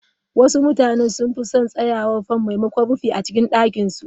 Wasu mutane sun fi son tsayawar fan maimakon Rufi a cikin ɗakin su.